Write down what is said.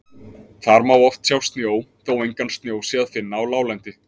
Þar má oft sjá snjó þó engan snjó sé að finna á láglendi.